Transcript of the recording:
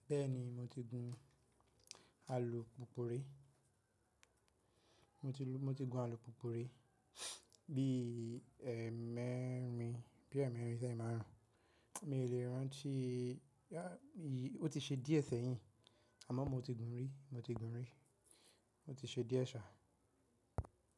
Bẹ́ẹ̀ni mo ti gun alùpùpù ri, mo ti gun alùpùpù ri bí ẹ̀ mẹ́rin, bí e mẹ́rin tàbi emáàrún, mi ò lè rán an tí i, ó ti ṣe díẹ̀ sẹ́yìn àmọ́ mo ti gun rí, mo ti gun rí ó ti ṣe díẹ̀ ṣà.